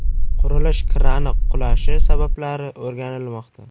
Qurilish krani qulashi sabablari o‘rganilmoqda.